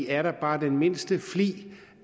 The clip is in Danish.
er der bare den mindste flig